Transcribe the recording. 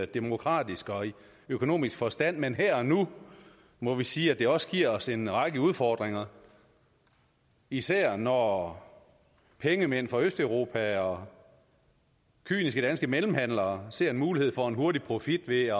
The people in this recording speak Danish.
demokratisk og økonomisk forstand men her og nu må vi sige at det også giver os en række udfordringer især når pengemænd fra østeuropa og kyniske danske mellemhandlere ser en mulighed for en hurtig profit ved